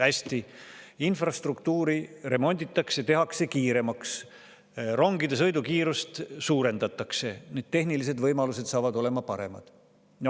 Hästi, infrastruktuuri remonditakse, tehakse kiiremaks, rongide sõidukiirust suurendatakse, tehnilised võimalused saavad olema paremad.